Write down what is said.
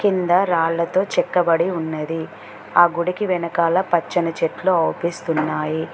కింద రాళ్లతో చెక్కబడి ఉన్నది ఆ గుడికి వెనకాల పచ్చని చెట్లు ఔపిస్తున్నాయి.